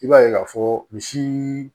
I b'a ye k'a fɔ misi